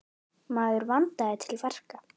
Maður vandaði til verka.